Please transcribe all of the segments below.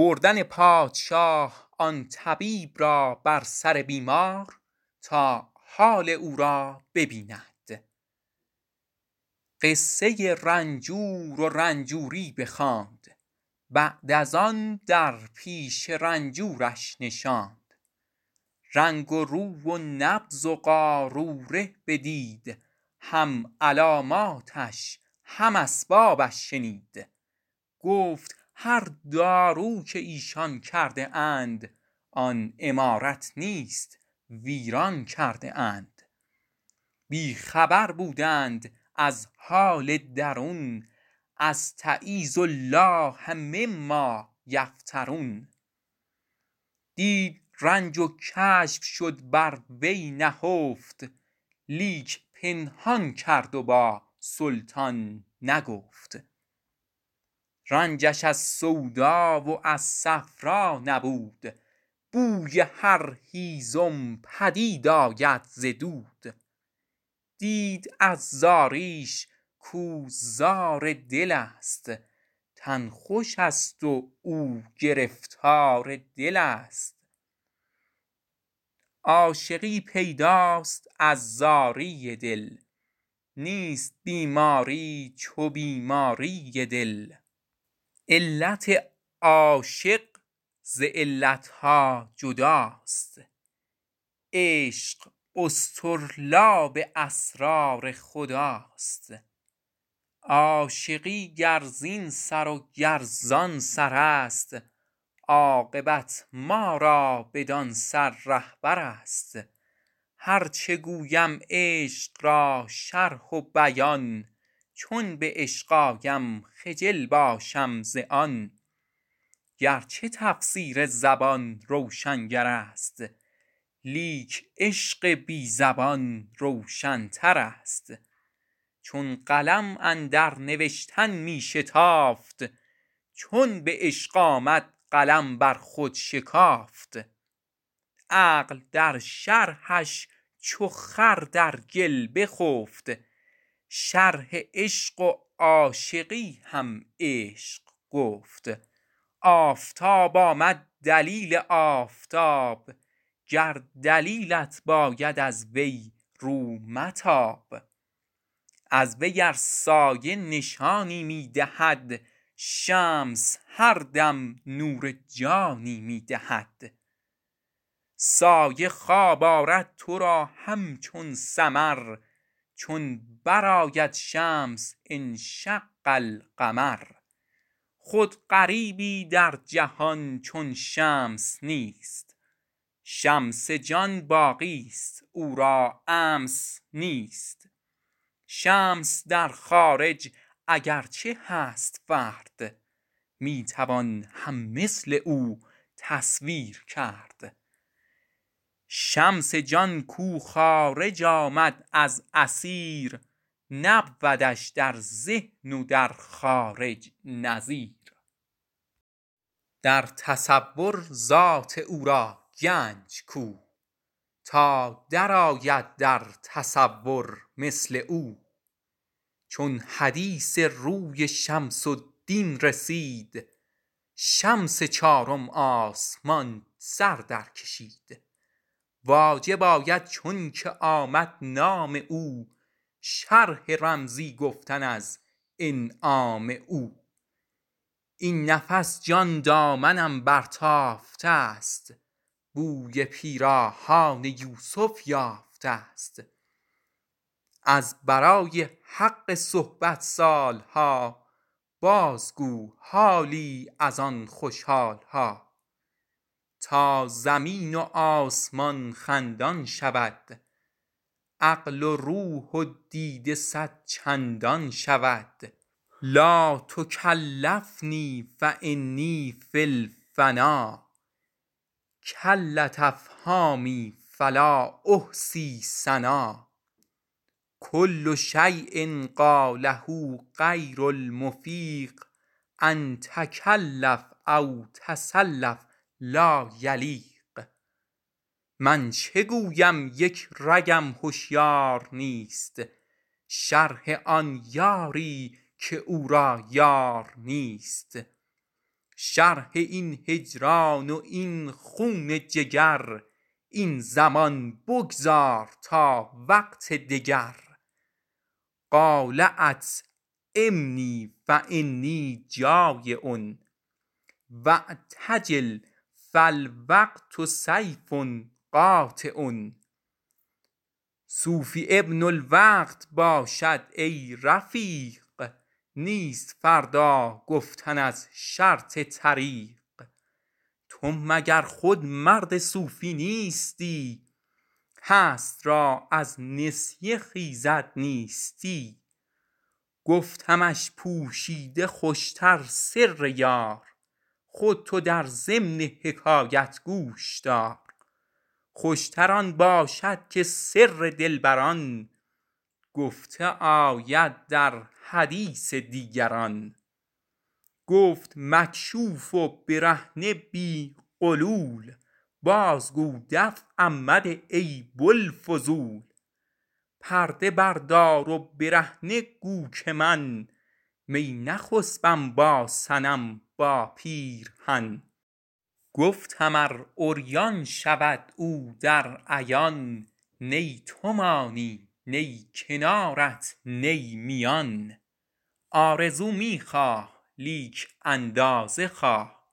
قصه رنجور و رنجوری بخواند بعد از آن در پیش رنجورش نشاند رنگ روی و نبض و قاروره بدید هم علاماتش هم اسبابش شنید گفت هر دارو که ایشان کرده اند آن عمارت نیست ویران کرده اند بی خبر بودند از حال درون استـعـیــذ الـله مـمـــا یفـتـــرون دید رنج و کشف شد بر وی نهفت لیک پنهان کرد و با سلطان نگفت رنجش از صفرا و از سودا نبود بوی هر هیزم پدید آید ز دود دید از زاریش کاو زار دلست تن خوشست و او گرفتار دلست عاشقی پیداست از زاری دل نیست بیماری چو بیماری دل علت عاشق ز علت ها جداست عشق اصطرلاب اسرار خداست عاشقی گر زین سر و گر زان سرست عاقبت ما را بدان سر رهبرست هرچه گویم عشق را شرح و بیان چون به عشق آیم خجل باشم از آن گرچه تفسیر زبان روشنگرست لیک عشق بی زبان روشنترست چون قلم اندر نوشتن می شتافت چون به عشق آمد قلم بر خود شکافت عقل در شرحش چو خر در گل بخفت شرح عشق و عاشقی هم عشق گفت آفتاب آمد دلیل آفتاب گر دلیلت باید از وی رو متاب از وی ار سایه نشانی می دهد شمس هر دم نور جانی می دهد سایه خواب آرد تو را همچون سمر چون برآید شمس انشق القمر خود غریبی در جهان چون شمس نیست شمس جان باقیی کش امس نیست شمس در خارج اگر چه هست فرد می توان هم مثل او تصویر کرد شمس جان کو خارج آمد از اثیر نبودش در ذهن و در خارج نظیر در تصور ذات او را گنج کو تا درآید در تصور مثل او چون حدیث روی شمس الدین رسید شمس چارم آسمان سر در کشید واجب آید چونکه آمد نام او شرح کردن رمزی از انعام او این نفس جان دامنم برتافته ست بوی پیراهان یوسف یافته ست کز برای حق صحبت سال ها بازگو حالی از آن خوش حال ها تا زمین و آسمان خندان شود عقل و روح و دیده صدچندان شود لاتکلفنی فانی فی الفنا کلت افهامی فلا احصی ثنا کل شیء قاله غیر المفیق أن تکلف او تصلف لا یلیق من چه گویم یک رگم هشیار نیست شرح آن یاری که او را یار نیست شرح این هجران و این خون جگر این زمان بگذار تا وقت دگر قال اطعمنی فانی جٰایع واعتجل فالوقت سیف قاطع صوفی ابن الوقت باشد ای رفیق نیست فردا گفتن از شرط طریق تو مگر خود مرد صوفی نیستی هست را از نسیه خیزد نیستی گفتمش پوشیده خوش تر سر یار خود تو در ضمن حکایت گوش دار خوش تر آن باشد که سر دلبران گفته آید در حدیث دیگران گفت مکشوف و برهنه بی غلول بازگو دفعم مده ای بوالفضول پرده بردار و برهنه گو که من می نخسپم با صنم با پیرهن گفتم ار عریان شود او در عیان نه تو مانی نه کنارت نه میان آرزو می خواه لیک اندازه خواه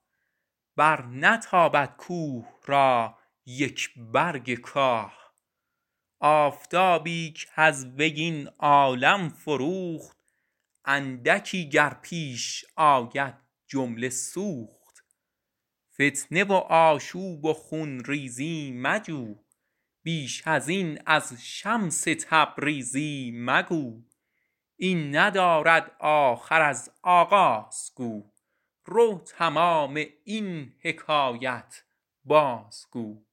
برنتابد کوه را یک برگ کاه آفتابی کز وی این عالم فروخت اندکی گر پیش آید جمله سوخت فتنه و آشوب و خون ریزی مجوی بیش ازین از شمس تبریزی مگوی این ندارد آخر از آغاز گوی رو تمام این حکایت بازگوی